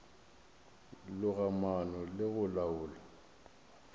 loga maano le go laola